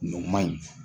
Nin man ɲi